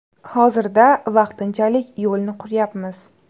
Hozirda vaqtinchalik yo‘lni quryapmiz.